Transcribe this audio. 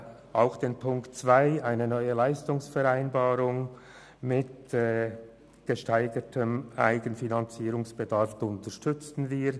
Auch den Punkt 2, der eine neue Leistungsvereinbarung mit gesteigertem Eigenfinanzierungsgrad will, unterstützen wir.